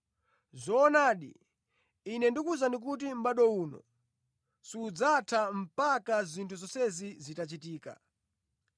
Zoonadi, Ine ndikuwuzani kuti mʼbado uno sudzatha mpaka zinthu zonsezi zitachitika.